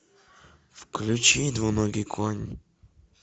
включи двуногий конь